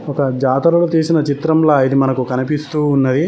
ఒక జాతరను చేసిన చిత్రంలో ఇది మనకు కనిపిస్తూ ఉన్నది